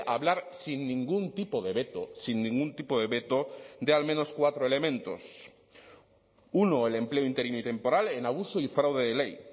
hablar sin ningún tipo de veto sin ningún tipo de veto de al menos cuatro elementos uno el empleo interino y temporal en abuso y fraude de ley